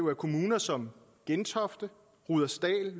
er kommuner som gentofte rudersdal